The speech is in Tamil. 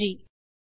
நன்றி